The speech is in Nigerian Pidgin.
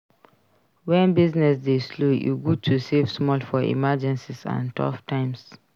Wen business dey slow e good to save small for emergencies and tough times.